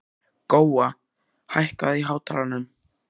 Góa, hækkaðu í hátalaranum.